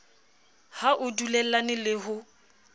ha o dulellane le ho